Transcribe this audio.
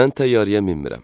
Mən təyyarəyə minmirəm.